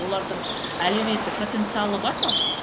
олардың әлеуметтік потенциалы бар ма